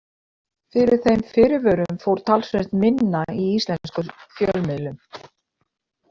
Fyrir þeim fyrirvörum fór talsvert minna í íslenskum fjölmiðlum.